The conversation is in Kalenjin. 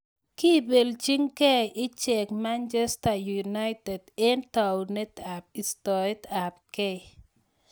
Kepelchii gei icheek Manchester united eng taunet ap istoet ap gei